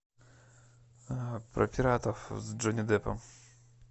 про пиратов с джонни деппом